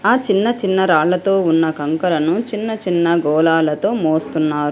ఆ చిన్న చిన్న రాళ్లతో ఉన్న కంకరను చిన్నచిన్న గోళాలతో మోస్తున్నారు.